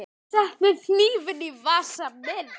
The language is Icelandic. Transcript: Settu hnífinn í vasa minn.